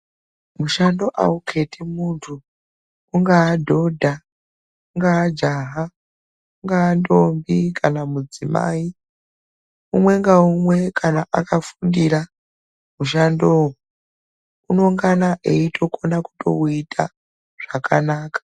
Mushando awu keti muntu ungaaa dhodha ungaa jaha ungaa ndombi kana mudzimai umwe nga umwe kana akafundira mushandowo unongana eito kona kutowu ita zvakanaka.